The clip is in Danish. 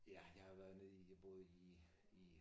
Ja jeg har været nede i jeg boede i i